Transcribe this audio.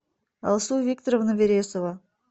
алсу викторовна вересова